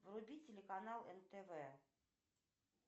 вруби телеканал нтв